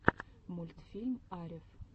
мультфильм арев